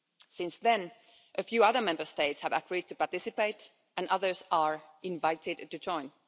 Since then, a few other Member States have agreed to participate and others are invited to join.